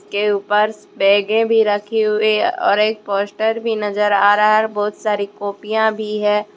के ऊपर बैगे भी रखी हुई है और एक पोस्टर भी नज़र आ रहा है और बहुत सारी कॉपियां भी है।